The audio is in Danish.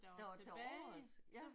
Der var tilovers ja